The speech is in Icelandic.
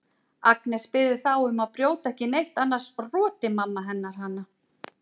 Agnes biður þá um að brjóta ekki neitt annars roti mamma hennar hana.